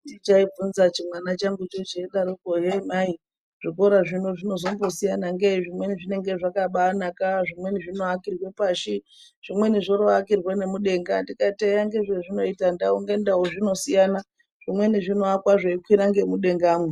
Chaibvunza chimwana changucho cheidaroko kuti hee mai zvikora zvino zvinozombosiyana ngei zvimweni zvinenge zvakabanaka, zvimweni zvinoakirwa pashi zvimweni zvinoakirwa ngemudenga ndikati eya ngezvezvinoita ndau ngendau zvinobasiyana zvimweni zvinoakwa zveikwira ngemudengamwo.